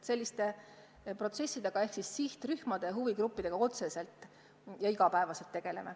Selliste protsessidega ehk siis otseselt sihtrühmade-huvigruppidega me iga päev tegeleme.